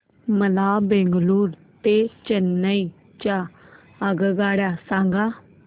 मला बंगळुरू ते चेन्नई च्या आगगाड्या सांगा